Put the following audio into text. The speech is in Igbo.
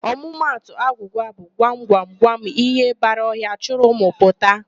Ọmụmatụ agwụgwa bụ, 'gwam, gwam, gwam ihe bara ọhịa, chịrị ụmụ pụta'.